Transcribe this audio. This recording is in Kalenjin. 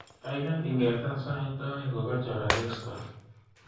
Gaigai ingeta sait aeng kogachor asista